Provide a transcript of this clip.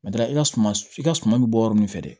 i ka suman i ka suma bɛ bɔ yɔrɔ min fɛ dɛ